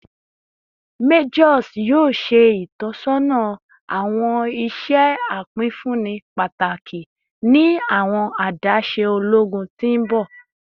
Majors yoo ṣe itọsọna awọn iṣẹ apinfunni pataki ni awọn adaṣe ologun ti n bọ